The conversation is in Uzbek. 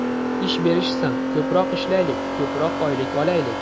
Ish berishsin, ko‘proq ishlaylik, ko‘proq oylik olaylik.